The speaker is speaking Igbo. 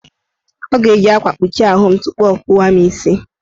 Ọ ga-eji akwa kpuchi ahụ m tupu ọ kpụwa mụ isi.